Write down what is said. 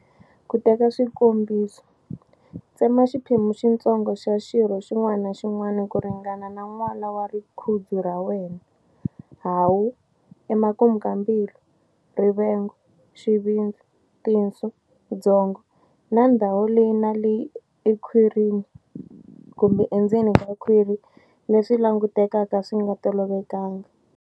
Ku teka swikombiso, tsema xiphemu xitsonga xa xirho xin'wana na xin'wana ku ringana na nwala wa rigudzu ra wena, hahu, emakumu ka mbilu, rivengo, xivindzi, tinswo, byongo na ndhawu leyi na leyi emakhwirini kumbe endzeni ka khwiri leswi langutekaka swi nga tolovelekangi.